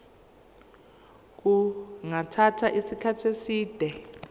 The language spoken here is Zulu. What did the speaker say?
kungathatha isikhathi eside